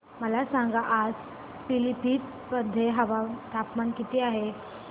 मला सांगा आज पिलीभीत मध्ये तापमान किती आहे